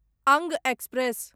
अंग एक्सप्रेस